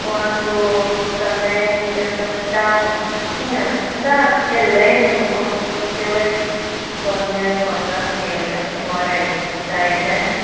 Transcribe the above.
Quando também eu tenho trauma, tinha, ainda relembro como se fosse hoje, quando meu irmão nasceu né, o que mora aí na Praia Grande.